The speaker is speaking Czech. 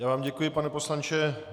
Já vám děkuji, pane poslanče.